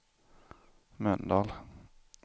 Mölndal